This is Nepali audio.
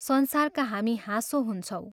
संसारका हामी हाँसो हुन्छौँ।